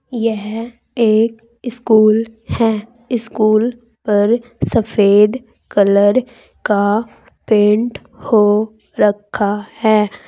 यह एक स्कूल है स्कूल पर सफेद कलर का पेंट हो रखा है।